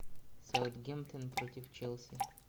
саутгемптон против челси